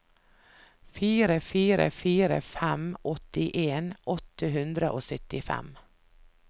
fire fire fire fem åttien åtte hundre og syttifem